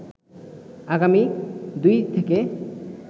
আগামী ২ থেকে